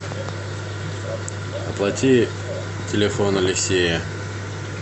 оплати телефон алексея